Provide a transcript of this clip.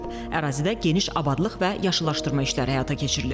Ərazidə geniş abadlıq və yaşıllaşdırma işləri həyata keçirilib.